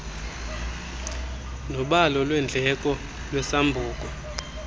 nobalo lweendleko lwesambuku